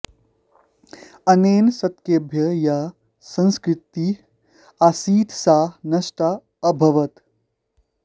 अनेन शतकेभ्यः या संस्कृतिः आसीत् सा नष्टा अभवत्